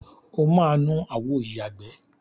O máa nu àwo ìyàgbẹ́.